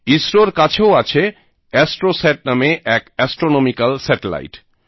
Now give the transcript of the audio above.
ইসরো র কাছে ও আছে এস্ট্রোস্যাট নামে এক অ্যাস্ট্রোনমিকাল স্যাটেলাইট